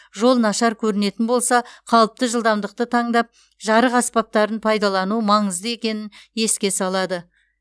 жол нашар көрінетін болса қалыпты жылдамдықты таңдап жарық аспаптарын пайдалану маңызды екенін еске салады